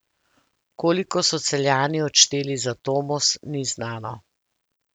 Koliko so Celjani odšteli za Tomos, ni znano.